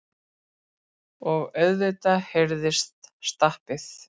Og auðvitað heyrðist stappið.